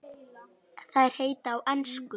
Þær heita á ensku